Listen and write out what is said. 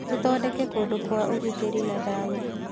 Tũthondeke kũndũ kwa ũgitĩri na thayũ.